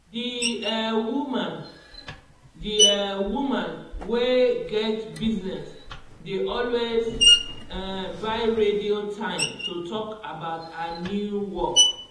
d um woman d um woman wey get business dey always um buy radio time to talk about her new work